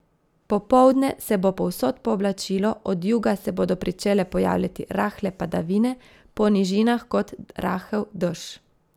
Popoldne se bo povsod pooblačilo, od juga se bodo pričele pojavljati rahle padavine, po nižinah kot rahel dež.